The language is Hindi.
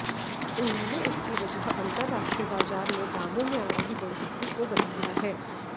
उन्होंने इसकी वजह अंतरराष्ट्रीय बाजार में दामों में आ रही बढ़ोतरी को बताया है